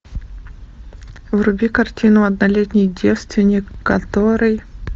вруби картину однолетний девственник который